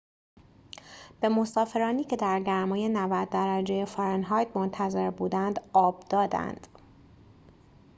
به مسافرانی که در گرمای ۹۰ درجه فارنهایت منتظر بودند آب دادند